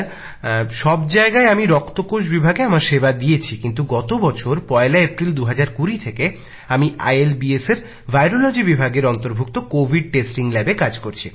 sir সব জায়গায় আমি রক্তকোষ বিভাগে আমার সেবা দিয়েছি কিন্ত গত বছর পয়লা এপ্রিল ২০২০ থেকে আমি institute of liver and biliary সায়েন্সেসএর ভাইরোরোলোজি বিভাগের কোভিড টেস্টিং ল্যাবে কাজ করছি